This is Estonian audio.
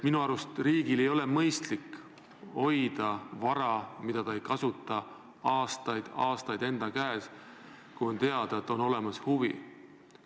Minu arust ei ole riigil mõistlik hoida vara, mida ta ei kasuta, aastaid-aastaid enda käes, kui on teada, et on olemas huvi.